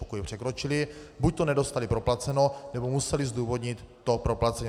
Pokud ho překročili, buď to nedostali proplaceno, nebo museli zdůvodnit to proplacení.